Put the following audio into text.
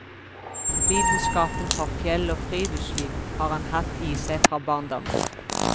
Lidenskapen for fjell og friluftsliv har han hatt i seg fra barndommen.